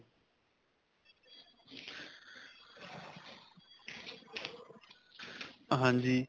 ਹਾਂਜੀ.